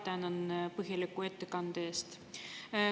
Ma tänan samuti põhjaliku ettekande eest.